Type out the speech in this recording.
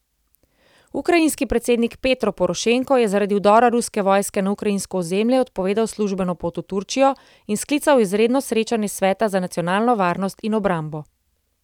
Ukrajinski predsednik Petro Porošenko je zaradi vdora ruske vojske na ukrajinsko ozemlje odpovedal službeno pot v Turčijo in sklical izredno srečanje sveta za nacionalno varnost in obrambo.